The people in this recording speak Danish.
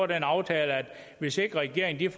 den aftale at hvis ikke regeringen